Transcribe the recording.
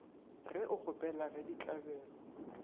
ge o kgopela ge ditlabelo